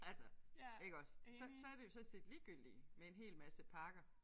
Altså iggås så så det jo sådan set ligegyldigt med en hel masse parker